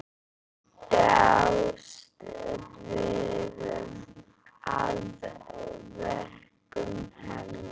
Ég dáðist að verkum hennar.